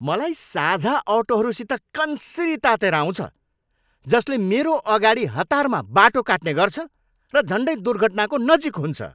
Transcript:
मलाई साझा अटोहरूसित कन्सिरी तातेर आउँछ जसले मेरो अगाडि हतारमा बाटो काट्ने गर्छ र झन्डै दुर्घटनाको नजिक हुन्छ।